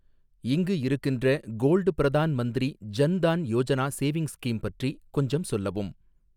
இங்கு இருக்கின்ற gold Pradhan Mantri Jan Dhan Yojana savings scheme பற்றிக் கொஞ்சம் சொல்லவும்!